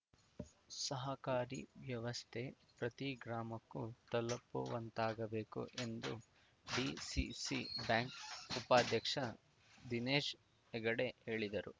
ಸಹಕಾರಿ ವ್ಯವಸ್ಥೆ ಪ್ರತೀ ಗ್ರಾಮಕ್ಕೂ ತಲುಪುವಂತಾಗಬೇಕು ಎಂದು ಡಿಸಿಸಿ ಬ್ಯಾಂಕ್‌ ಉಪಾಧ್ಯಕ್ಷ ದಿನೇಶ್‌ ಹೆಗಡೆ ಹೇಳಿದರು